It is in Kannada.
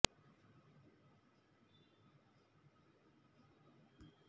ಕೂಡಲೇ ಸಾರ್ವಜನಿಕರು ಸ್ಥಳಕ್ಕೆ ಆಗಮಿಸಿ ಚಾಲಕನಿಗೆ ನೀರು ಕೊಟ್ಟು ಧೈರ್ಯ ಹೇಳಿದ್ದಾರೆ